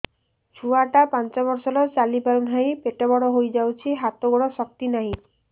ଛୁଆଟା ପାଞ୍ଚ ବର୍ଷର ଚାଲି ପାରୁନାହଁ ପେଟ ବଡ ହୋଇ ଯାଉଛି ହାତ ଗୋଡ଼ର ଶକ୍ତି ନାହିଁ